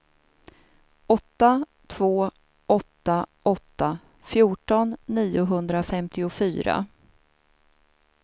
åtta två åtta åtta fjorton niohundrafemtiofyra